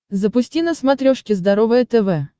запусти на смотрешке здоровое тв